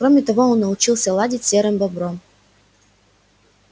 кроме того он научился ладить с серым бобром